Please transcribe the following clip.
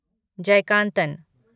Jayakanthan